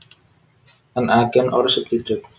An agent or substitute